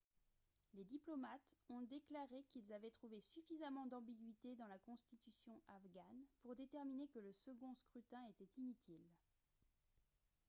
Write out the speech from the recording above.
les diplomates ont déclaré qu'ils avaient trouvé suffisamment d'ambiguïté dans la constitution afghane pour déterminer que le second scrutin était inutile